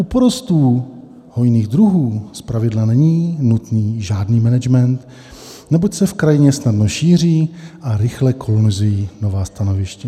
U porostů hojných druhů zpravidla není nutný žádný management, neboť se v krajině snadno šíří a rychle kolonizují nová stanoviště.